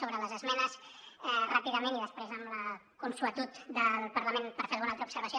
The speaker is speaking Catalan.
sobre les esmenes ràpidament i després amb la consuetud del parlament per fer alguna altra observació